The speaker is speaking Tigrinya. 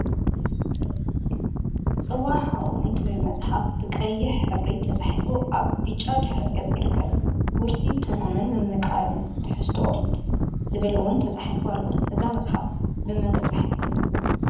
“ፅዋ ሓው” እትብል መፅሓፍ ብቀይሕ ሕብሪ ተፃሒፋ አብ ብጫ ድሕረ ገፅ ይርከብ፡፡ “ውርሲ ትርጉምን ምምቃር ትሕዝቶን” ዝብል እውን ተፃሒፉ አሎ፡፡ እዛ መፅሓፍ ብመን ተፃሒፋ?